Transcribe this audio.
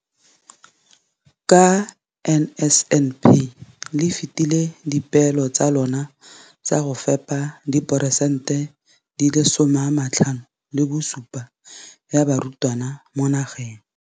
Ka NSNP le fetile dipeelo tsa lona tsa go fepa 75 percent ya barutwana ba mo nageng.